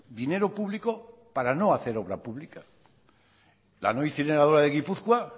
dinero público para no hacer obra pública la no incineradora de gipuzkoa